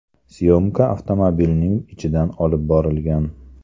Syomka avtomobilning ichidan olib borilgan.